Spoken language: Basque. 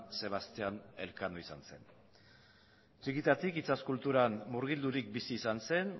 sebastian elkano izan zen txikitatik itsas kulturan murgildurik bizi izan zen